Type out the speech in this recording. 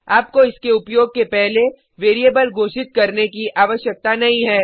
आपको इसके उपयोग के पहले वेरिएबल घोषित करने की आवश्यकता नहीं है